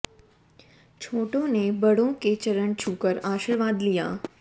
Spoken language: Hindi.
छोटों ने बड़ों के चरण छूकर आशीर्वाद लिया